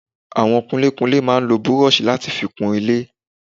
Àwọn kunlékunlé máa ń lo búrọ̀sì láti fi kunlé